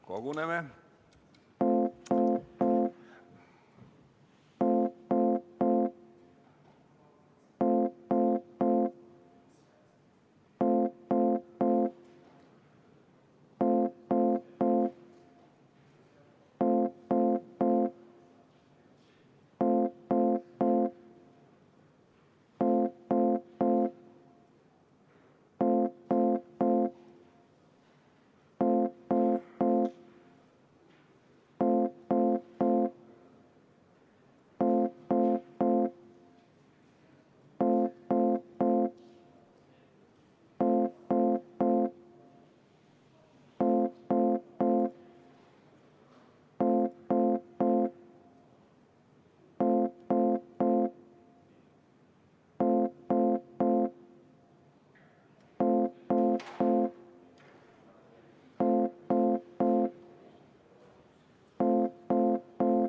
Koguneme!